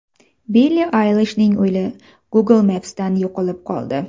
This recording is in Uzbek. Billi Aylishning uyi Google Maps’dan yo‘qolib qoldi.